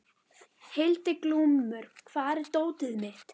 Hildiglúmur, hvar er dótið mitt?